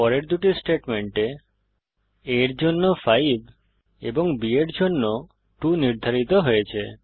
পরের দুটি স্টেটমেন্টে a র জন্য 5 b এর জন্য 2 নির্ধারিত হয়েছে